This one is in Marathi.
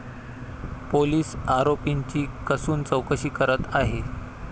पोलीस आरोपीची कसून चौकशी करत आहे.